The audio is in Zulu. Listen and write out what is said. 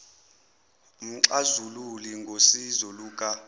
umxazululi ngosizo luka